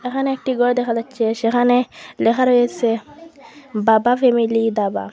এহানে একটি গর দেখা যাচ্ছে সেখানে লেখা রয়েসে বাবা ফ্যামিলি দাবা।